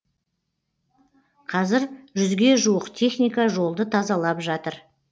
қазір жүзге жуық техника жолды тазалап жатыр